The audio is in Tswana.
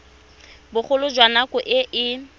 bogolo jwa nako e e